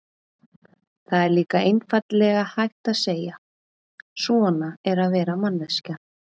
Það er líka einfaldlega hægt að segja: svona er að vera manneskja.